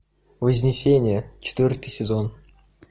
вознесение четвертый сезон